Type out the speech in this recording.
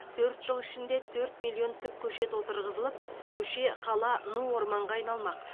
төрт жыл ішінде төрт миллион түп көшет отырғызылып көше қала ну орманға айналмақ